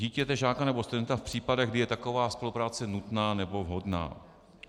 ... dítěte, žáka nebo studenta v případech, kdy je taková spolupráce nutná nebo vhodná.